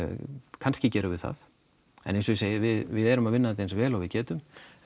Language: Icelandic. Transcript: kannski gerum við það en eins og ég segi við erum að vinna þetta eins vel og við getum